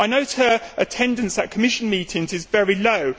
I note her attendance at Commission meetings is very low.